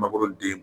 Mangoro den